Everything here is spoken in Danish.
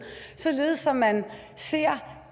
således at man ser